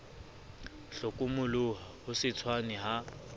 hlokomoloha ho se tshwane ha